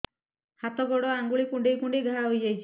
ହାତ ଗୋଡ଼ ଆଂଗୁଳି କୁଂଡେଇ କୁଂଡେଇ ଘାଆ ହୋଇଯାଉଛି